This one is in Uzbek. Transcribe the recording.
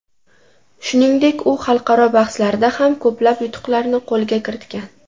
Shuningdek, u xalqaro bahslarda ham ko‘plab yutuqlarni qo‘lga kiritgan.